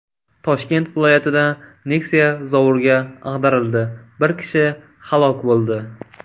Toshkent viloyatida Nexia zovurga ag‘darildi, bir kishi halok bo‘ldi.